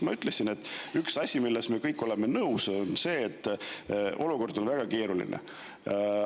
Ma ütlesin, et üks asi, millega me kõik oleme nõus, on see, et olukord on väga keeruline.